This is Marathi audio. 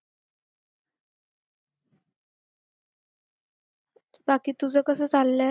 बाकी तुझं कसं चाललंय